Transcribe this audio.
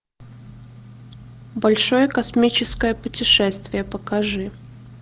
большое космическое путешествие покажи